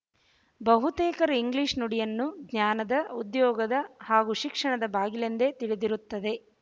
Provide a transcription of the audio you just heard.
ಬಹುತೇಕರು ಇಂಗ್ಲೀಷ್ ನುಡಿಯನ್ನು ಜ್ಞಾನದ ಉದ್ಯೋಗದ ಹಾಗೂ ಶಿಕ್ಷಣದ ಬಾಗಿಲೆಂದು ತಿಳದಿರುತ್ತದೆ